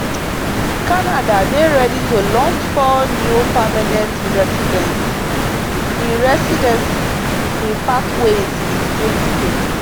canada dey ready to launch four new permanent recidency pre-recidency pre-pathways in 2025